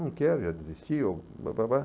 Não quero, já desisti. Eu